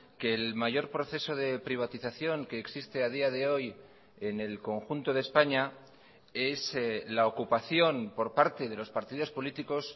que el mayor proceso de privatización que existe a día de hoy en el conjunto de españa es la ocupación por parte de los partidos políticos